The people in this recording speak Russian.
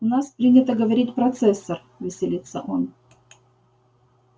у нас принято говорить процессор веселится он